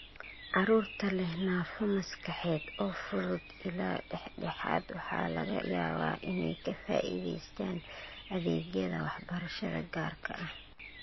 Carruurta leh naafo maskaxeed oo fudud ilaa dhexdhexaad waxa laga yaabaa inay ka faa'iidaystaan ​​adeegyada waxbarashada gaarka ah.